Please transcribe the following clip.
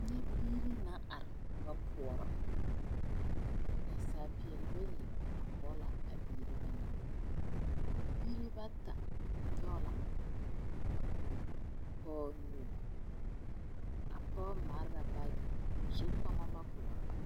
Nyɛ biire na are ba pɔɔrɔ naasaal peɛɛli bayi are kɔge la a biire ba ŋa biire bata nyoge la pɔɔ nu a pɔge mare la baagi zukɔmɔ ma pɔɔrɔ.